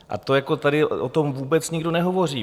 A to jako tady o tom vůbec nikdo nehovoří.